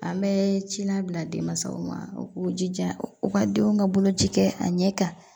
An bɛ cila bila denmansaw ma u k'u jija u ka denw ka boloci kɛ a ɲɛ kan